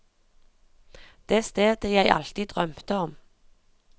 Det stedet jeg alltid drømte om.